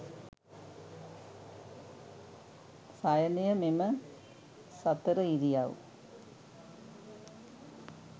සයනය මෙම සතර ඉරියව්